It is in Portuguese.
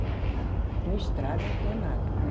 Não tinha estrada, não tinha nada, né?